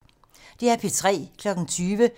DR P3